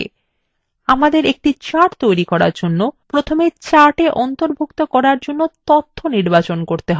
আমাদের একটি chart তৈরি করার জন্য প্রথমে chart অন্তর্ভুক্ত করার জন্য তথ্য নির্বাচন করতে have